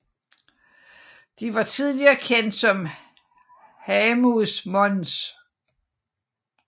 De var tidligere kendt som Haemus mons